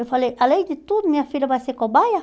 Eu falei, além de tudo, minha filha vai ser cobaia?